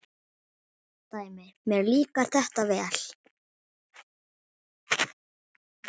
Dæmi: Mér líkar þetta vel.